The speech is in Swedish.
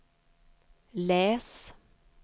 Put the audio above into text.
läs